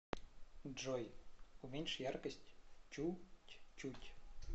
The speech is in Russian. джой уменьши яркость чуть чуть